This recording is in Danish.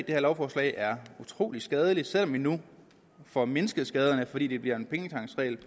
det her lovforslag er utrolig skadeligt selv om vi nu får mindsket skaderne fordi det bliver en pengetanksregel